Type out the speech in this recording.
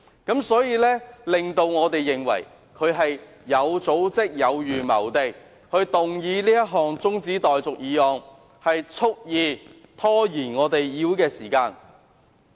因此，我們認為他是有組織、有預謀地提出中止待續議案，蓄意拖延立法會會議時間。